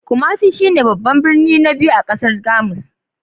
Kumasi shi ne babban birnin na biyu a ƙasar Kamari.